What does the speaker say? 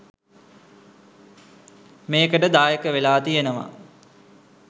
මේකට දායක වෙලා තියෙනව.